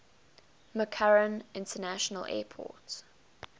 mccarran international airport